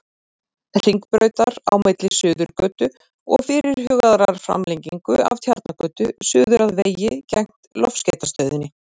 Hringbrautar, á milli Suðurgötu og fyrirhugaðrar framlengingu af Tjarnargötu, suður að vegi gegnt Loftskeytastöðinni.